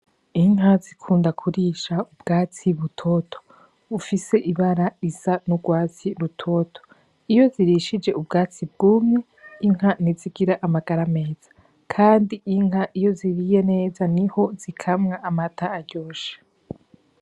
Inka zikunda kurisha ubwatsi butoto bufise ibara risa n'urwatsi rutoto, iyo zirishije ubwatsi bwumye inka ntizigira amagara meza. Kandi inka iyo ziriye neza niho zikamwa amata aryoshe.